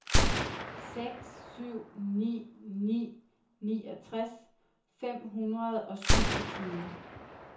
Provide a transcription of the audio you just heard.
seks syv ni ni niogtres fem hundrede og syvogtyve